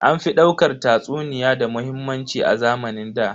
An fi daukar tatsuniya da muhimmanci a zamanin ɗa.